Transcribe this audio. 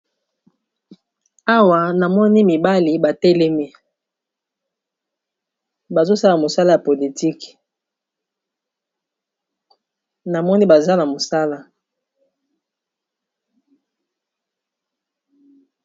Awa na moni mibali batelemi bazosala mosala ya politike na moni baza na mosala